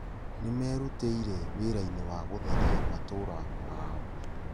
Nĩmerutĩire wĩrainĩ wa gũtheria matũũra maao